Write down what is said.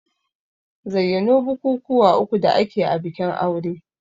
Zayyano bukukuwa uku da ake a bikin aure?